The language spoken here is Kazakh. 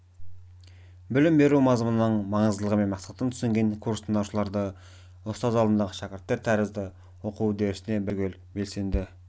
білім беру мазмұнының маңыздылығы мен мақсатын түсінген курс тыңдаушылары ұстаз алдындағы шәкірттер тәрізді оқу үдерісіне бәрі түгел белсенді